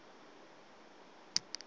ebuwaneni